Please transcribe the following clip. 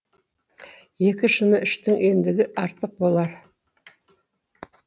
екі шыны іштің ендігі артық болар